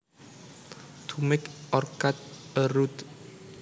To make or cut a route